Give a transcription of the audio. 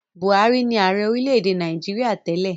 Buhari ni ààrẹ orílẹ̀-èdè Nàìjíríà tẹ́lẹ̀.